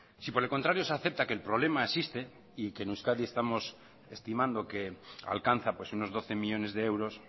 si por el contrario se acepta que el problema existe y que en euskadi estamos estimando que alcanza pues unos doce millónes de euros